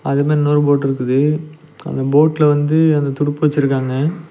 அது மார் இன்னொரு போட்ருக்குது அந்த போட்ல வந்து அந்த துடுப்பு வச்சிருக்காங்க.